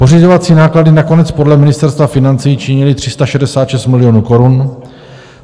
Pořizovací náklady nakonec podle Ministerstva financí činily 366 milionů korun.